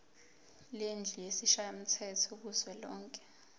lendlu yesishayamthetho kuzwelonke